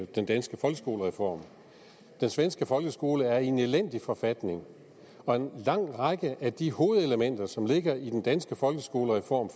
den danske folkeskolereform den svenske folkeskole er i en elendig forfatning og en lang række af de hovedelementer som ligger i den danske folkeskolereform